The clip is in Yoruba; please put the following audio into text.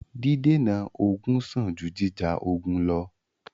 Dídènà ogun sàn jù jíjà ogun lọ́.